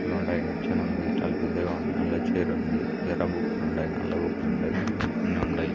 ఉంది. చాలా పెద్దగా ఉంది. అల్లా చైర్ ఉంది. ఎర్ర బుక్కులు ఉన్నాయి. నల్ల బుక్కులు ఉంటాయి. ఉమ్ ఉండాయి.